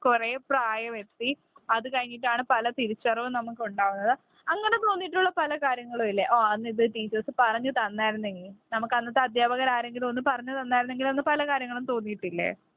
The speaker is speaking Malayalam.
കുറെ പ്രായമെത്തി അത് കഴിഞ്ഞിട്ടാണ് പല തിരിച്ചറിവുകളുംനമുക്ക് ഉണ്ടാവുന്നത്. അങ്ങനെ തോന്നിയിട്ടുള്ള പല കാര്യങ്ങളുംഇല്ലേ? ഓ അന്ന് ഇത് ടീച്ചേഴ്സ്‌ പറഞ്ഞു തന്ന ആയിരുന്നെങ്കിൽനമുക്ക് അന്നത്തെ അധ്യാപകരാരെങ്കിലും ഒന്ന് പറഞ്ഞു തന്ന ആയിരുന്നെങ്കിൽ എന്ന് പല കാര്യങ്ങളും തോന്നിയിട്ടില്ല.